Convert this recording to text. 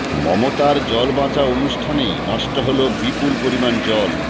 মমতার জল বাঁচাও অনুষ্ঠানেই নষ্ট হল বিপুল পরিমাণ জল